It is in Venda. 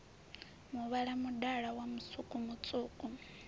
muvhala mudala wa musuku mutswuku